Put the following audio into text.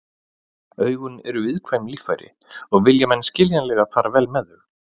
Augun eru viðkvæm líffæri og vilja menn skiljanlega fara vel með þau.